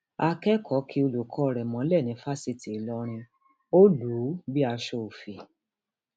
akẹkọọ kí olùkọ rẹ mọlẹ ní fásitì ìlọrin ó lù ú bíi aṣọ ọfọ